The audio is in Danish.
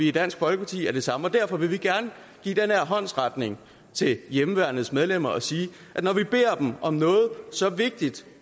i dansk folkeparti at det samme igen derfor vil vi gerne give den her håndsrækning til hjemmeværnets medlemmer og sige at når vi beder dem om noget så vigtigt